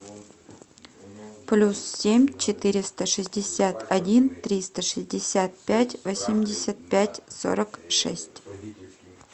плюс семь четыреста шестьдесят один триста шестьдесят пять восемьдесят пять сорок шесть